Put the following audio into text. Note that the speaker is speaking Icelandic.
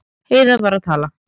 Heiða var að tala.